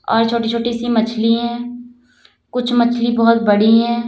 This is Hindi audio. और छोटी छोटी सी मछलियां है कुछ मछली बहुत बड़ी है।